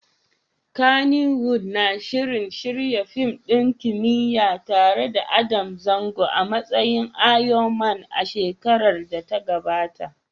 Kannywood na shirin shirya fim ɗin kimiyya tare da Adam Zango a matsayin Iron Man a shekarar da ta gabata.